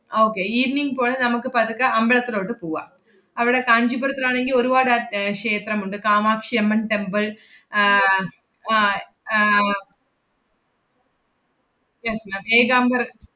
okay evening പോലെ നമ്മക്ക് പതുക്കെ അമ്പലത്തിലോട്ട് പൂവാം. അവടെ കാഞ്ചീപുരത്തിലാണെങ്കി ഒരുവാട് അഹ് ഏർ ക്ഷേത്രമുണ്ട്. കാമാക്ഷിയമ്മൻ temple ആഹ് അഹ് ആഹ് എ~ ഏകാംബര~